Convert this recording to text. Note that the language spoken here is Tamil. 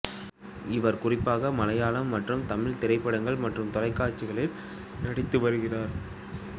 இவர் குறிப்பாக மலையாளம் மற்றும் தமிழ் திரைப்படங்கள் மற்றும் தொலைக்காட்சிகளில் நடித்து வருகிறார்